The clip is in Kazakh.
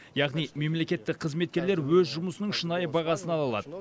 яғни мемлекеттік қызметкерлер өз жұмысының шынайы бағасын ала алады